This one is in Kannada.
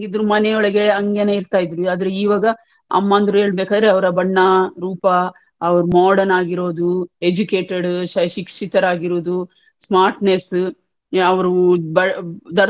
ಮನೆಯೊಳಗೇ ಹಂಗೇನೇ ಇರ್ತಾ ಇದ್ರೂ ಈವಾಗ ಅಮ್ಮಂದ್ರು ಹೇಳ್ಬಕಾದ್ರೆ ಅವ್ರ ಬಣ್ಣ ರೂಪ ಅವ್ರು modern ಆಗಿರೋದು educated ಶಿಕ್ಷಿತರಾಗಿರುದು smartness ಅವ್ರು,